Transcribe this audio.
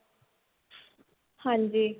ਹਾਂਜੀ